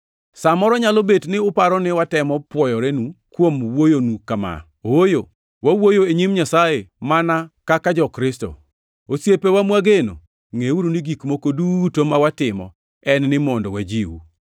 Sa moro nyalo bet ni uparo ni watemo pwoyorenu kuom wuoyonu kama. Ooyo, wawuoyo e nyim Nyasaye mana kaka jo-Kristo. Osiepewa mwageno, ngʼeuru ni gik moko duto ma watimo en ni mondo wajiu.